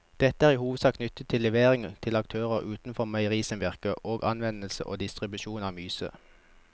Dette er i hovedsak knyttet til levering til aktører utenfor meierisamvirket og anvendelse og distribusjon av myse.